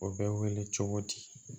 O bɛ wele cogo di